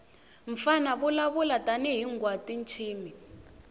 mfana vulavula tani hhingwatintshimi